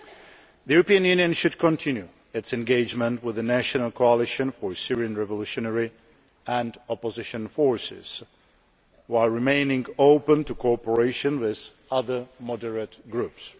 The European Union should continue its engagement with the National Coalition for Syrian Revolutionary and Opposition Forces while remaining open to cooperation with other moderate groups.